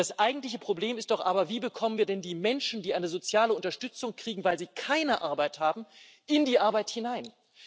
Das eigentliche Problem ist doch aber Wie bekommen wir denn die Menschen, die eine soziale Unterstützung kriegen, weil sie keine Arbeit haben, in die Arbeit hinein?